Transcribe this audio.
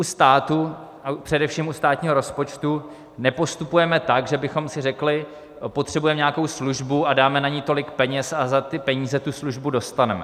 U státu a především u státního rozpočtu nepostupujeme tak, že bychom si řekli: potřebujeme nějakou službu a dáme na ni tolik peněz a za ty peníze tu službu dostaneme.